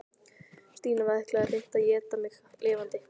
Stína ætlaði hreint að éta mig lifandi.